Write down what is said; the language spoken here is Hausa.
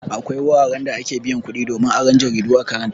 Akwai wuraran da ake biyan kuɗi domin aron jaridu a karanta.